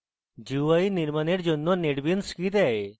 gui নির্মানের জন্য netbeans gui দেয়